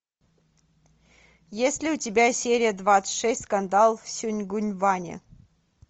есть ли у тебя серия двадцать шесть скандал в сонгюнгване